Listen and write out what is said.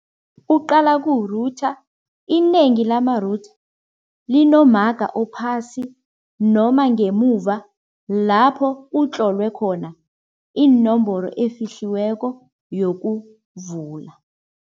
Kuqala ku-router, inengi lama-router linomaga ophasi noma ngemuva lapho utlolwe khona iinomboro efihliweko yokuvula.